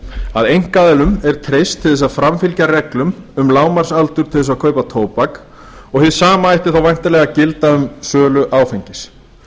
að einkaaðilum er treyst til að framfylgja reglum um lágmarksaldur til þess að kaupa tóbak og hið sama ætti þá væntanlega að gilda um sölu áfengis þá